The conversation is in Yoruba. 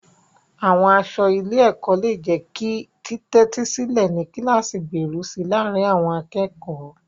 Àwọn aṣọ ilé-ẹ̀kọ́ lè jẹ́ kí títẹ́tísílẹ̀ ní kíláàsì gbèrú si láàárín àwọn akẹ́kọ̀ọ́.